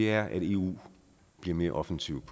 er at eu bliver mere offensivt